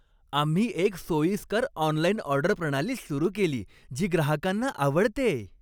आम्ही एक सोयीस्कर ऑनलाइन ऑर्डर प्रणाली सुरू केली, जी ग्राहकांना आवडतेय.